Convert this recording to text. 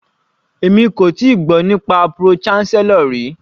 Èmi kò tíì gbọ́ nípa pro-chancellor rí.